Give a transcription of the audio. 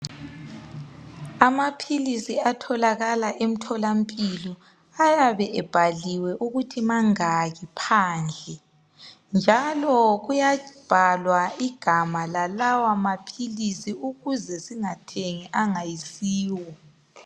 Amaphilisi atholakala emtholampilo ayabe ebhaliwe ukuthi mangaki phandle njalo kuyabhalwa igama lalawa maphilisi ukuze singathengi angayisiwo.